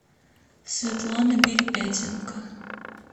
светлана перепятенко